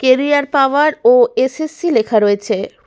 Career power ও S S. C. লেখা রয়েছে।